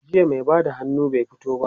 jiya mai Bada hannu bai fito ba